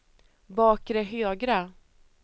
bakre högra